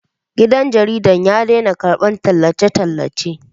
Gidan jaridar ya daina karɓar tallace-tallace